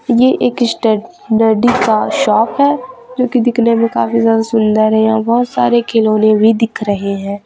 ये एक स्टेडनरी का शॉप हैं जो कि दिखने में काफी ज्यादा सुंदर हैं यहां बहोत सारे खिलौने भी दिख रहे हैं।